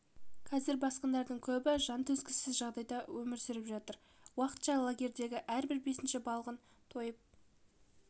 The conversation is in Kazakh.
қазір босқындардың көбі жан төзгісіз жағдайда өмір сүріп жатыр уақытша лагердегі әрбір бесінші балғын тойып